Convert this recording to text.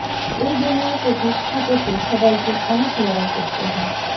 এই দুনিয়ায় প্রতিষ্ঠা পেতে সবাইকে অনেক লড়াই করতে হয়